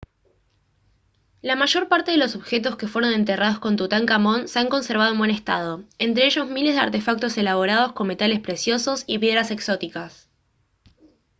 la mayor parte de los objetos que fueron enterrados con tutankamón se han conservado en buen estado entre ellos miles de artefactos elaborados con metales preciosos y piedras exóticas